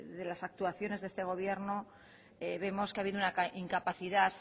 de las actuaciones de este gobierno vemos qua ha habido una incapacidad